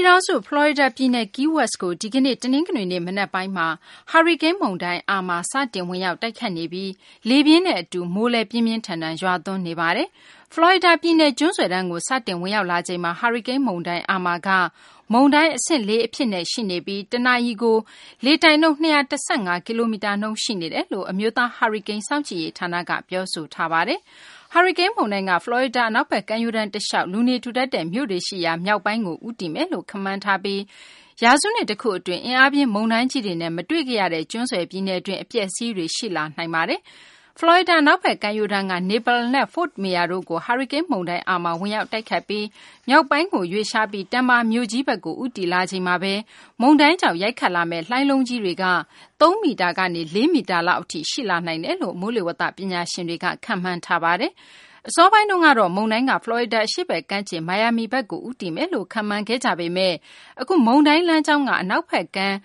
ြည်ထောင်စု ဖလော်ရီဒါ ပြည်နယ် Key West ကို ဒီကနေ့ တနင်္ဂနွေနေ့ မနက်ပိုင်းမှာ ဟာရီကိန်းမုန်တိုင်း အာမာ စတင် ဝင်ရောက်တိုက်ခတ်နေပြီး လေပြင်းနဲ့ အတူ မိုးလည်း ပြင်းပြင်းထန်ထန် ရွာသွန်းနေပါတယ်။ ဖလော်ရီဒါပြည်နယ် ကျွန်းဆွယ်တန်းကို စတင်ဝင်ရောက်လာချိန်မှာ ဟာရီကိန်း မုန်တိုင်း အာမာက မုန်တိုင်း အဆင့် ၄ အဖြစ် ရှိနေပြီး တနာရီကို လေတိုက်နှုန်း ၂၁၅ ကီလိုမီတာနှုန်း ရှိနေတယ်လို့ အမျိုးသား ဟာရီကိန်း စောင့်ကြည့်ရေး ဌာနက ပြောဆိုထားပါတယ်။ ဟာရီကိန်း မုန်တိုင်းက ဖလော်ရီဒါ အနောက်ဘက် ကမ်းရိုးတန်း တလျှောက် လူနေထူထပ်တဲ့ မြို့တွေရှိရာ မြောက်ပိုင်းကို ဦးတည်မယ်လို့ ခန့်မှန်းထားပြီး ရာစုနှစ် တခုအတွင်း အင်အားပြင်း မုန်တိုင်းကြီးတွေနဲ့ မတွေ့ခဲ့ရတဲ့ ကျွန်းဆွယ် ပြည်နယ်တွင်း အပျက်အစီးတွေ ရှိလာနိုင်တာပါ။ ဖလော်ရီဒါ အနောက်ဘက် ကမ်းရိုးတန်းက Naples နဲ့ Fort Myers တို့ကို ဟာရီကိန်း မုန်တိုင်း အာမာ ဝင်ရောက်တိုက်ခတ်ပြီး မြောက်ပိုင်းကို ရွေ့လျားပြီး Tampa မြို့ကြီးဘက်ကို ဦးတည်လာချိန်မှာဘဲ မုန်တိုင်းကြောင့် ရိုက်ခတ်လာမယ့် လှိုင်းလုံးကြီးတွေက သုံးမီတာကနေ ၄ မီတာလောက် အထိ ရှိလာနိုင်တယ်လို့ မိုးလေဝသ ပညာရှင်တွေက ခန့်မှန်းထားပါတယ်။ အစောပိုင်းတုန်းကတော့ မုန်တိုင်းက ဖလော်ရီဒါ အရှေ့ဘက် ကမ်းခြေ မိုင်ယာမီဘက်ကို ဦးတည်လာမယ်လို့ ခန့်မှန်းခဲ့ကြပေမယ့် အခု မုန်တိုင်းလမ်းကြောင်းက အနောက်ဘက်ကမ်း